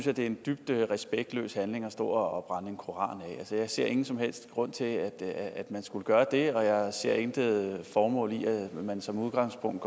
at det er en dybt respektløs handling at stå og brænde en koran af jeg ser ingen som helst grund til at man skulle gøre det og jeg ser intet formål i at man som udgangspunkt